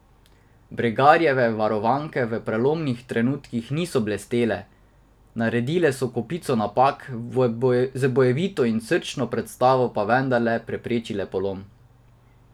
Bregarjeve varovanke v prelomnih trenutkih niso blestele, naredile so kopico napak, z bojevito in srčno predstavo pa vendarle preprečile polom.